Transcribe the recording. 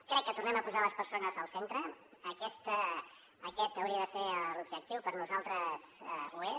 crec que tornem a posar les persones al centre aquest hauria de ser l’objectiu per nosaltres ho és